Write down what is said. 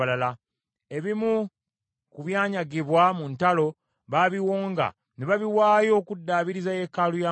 Ebimu ku byanyagibwa mu ntalo babiwonga, ne babiwaayo okuddaabiriza yeekaalu ya Mukama .